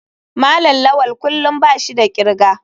malam lawal kullum bashi da kirga.